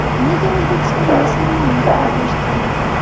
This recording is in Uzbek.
Nega O‘zbekistonga sarmoya kiritish kerak?